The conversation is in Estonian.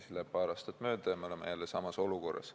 Siis läheb paar aastat mööda ja me oleme jälle samas olukorras.